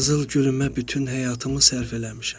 Qızıl gülümbə bütün həyatımı sərf eləmişəm.